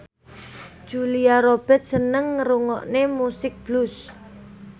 Julia Robert seneng ngrungokne musik blues